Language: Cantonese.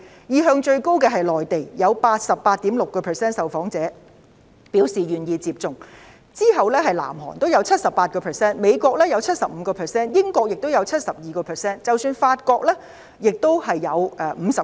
意向最高的是內地，有 88.6% 受訪者表示願意接種，然後是南韓，有 78%； 美國的接種意向是 75%； 英國有 72%； 即使是法國，接種意向亦有 59%。